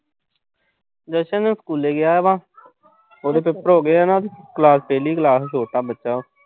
ਵੈਸੇ ਉਹ ਸਕੂਲੇ ਗਿਆ ਵਾ। ਉਹਦੇ ਪੇਪਰ ਹੋ ਗਏ ਆ ਨਾ ਜੇ। ਕਲਾਸ ਪਹਿਲੀ ਕਲਾਸ ਐ, ਛੋਟਾ ਬੱਚਾ।